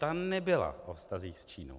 Ta nebyla o vztazích s Čínou.